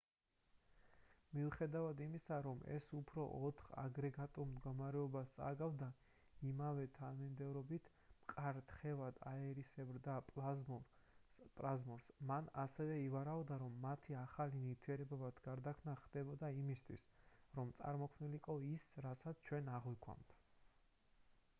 მიუხედავად იმისა რომ ეს უფრო ოთხ აგრეგატულ მდგომარეობას წააგავდა იმავე თანმიმდევრობით: მყარ თხევად აირისებრ და პლაზმურს მან ასევე ივარაუდა რომ მათი ახალ ნივთიერებებად გარდაქმნა ხდებოდა იმისთვის რომ წარმოქმნილიყო ის რასაც ჩვენ აღვიქვამთ